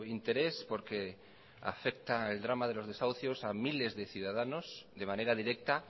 interés porque afecta al drama de los desahucios a miles de ciudadanos de manera directa